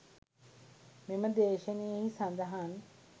මෙම දේශනයෙහි සඳහන්